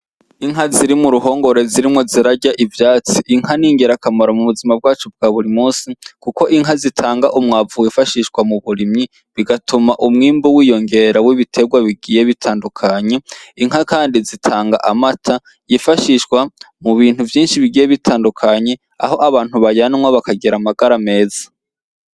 Inka ziri muruhongore ziriko zirarya ubwatsi, inka ningira kamaro m'ubuzima bwacu bwaburi munsi, kuko inka zitanga umwavu wifashishwa mu burimyi bigatuma umwimbu wiyongera wibiterwa bitandukanye, inka Kandi zitanga amata yifashishwa mu bintu vyinshi bigiye bitandukanye aho abantu banywa bakagira amagara meza.